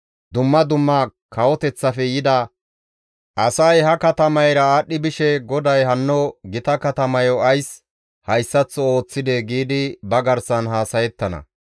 «Dumma dumma kawoteththafe yida asay ha katamayra aadhdhi bishe, ‹GODAY hanno gita katamayo ays hayssaththo ooththidee?› giidi ba garsan haasayettana.